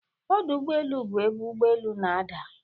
Ọdụ ụgbọ elu bụ ebe ụgbọ elu na-ada.